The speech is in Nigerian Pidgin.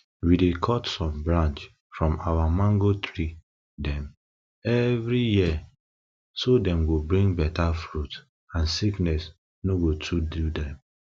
we dey cut some branch from our mango tree dem everi year so dem go bring beta fruit and sickness no go too do dem